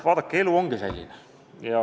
Vaadake, elu ongi selline.